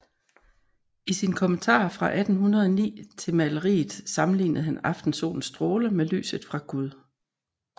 I sin kommentar fra 1809 til maleriet sammenlignede han aftensolens stråler med lyset fra Gud